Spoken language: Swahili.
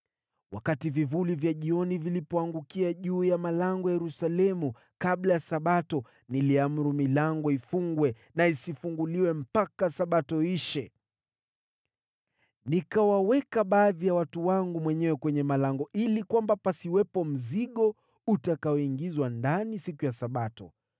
Wakati vivuli vya jioni vilipoangukia juu ya malango ya Yerusalemu kabla ya Sabato, niliamuru milango ifungwe, wala isifunguliwe mpaka Sabato iishe. Nikawaweka baadhi ya watu wangu mwenyewe kwenye malango ili pasiwepo mzigo utakaoingizwa ndani siku ya Sabato.